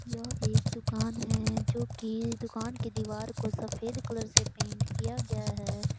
यह एक दुकान है जो की दुकान की दीवार को सफेद कलर से पेंट किया गया है।